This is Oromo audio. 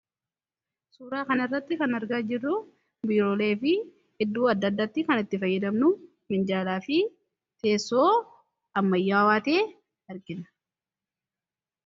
suuraa kan irratti kana argaa jirru biiroolee fi iddoo adda addaatti kan itti fayyadamnu minjaalaa fi teessoo ammayyaa waatee arqina